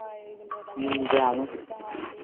হয় ওই গুলো তারপরে যেতে হয়